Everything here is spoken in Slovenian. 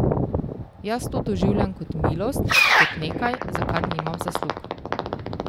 Jaz to doživljam kot milost, kot nekaj, za kar nimam zaslug.